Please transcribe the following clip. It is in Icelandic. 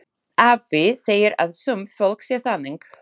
Afi segir að sumt fólk sé þannig.